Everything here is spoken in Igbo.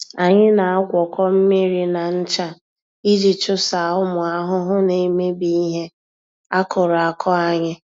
Anyị na-agwọkọ mmiri na ncha iji chụsaa ụmụ ahụhụ na-emebi ihe akụrụ akụ anyị.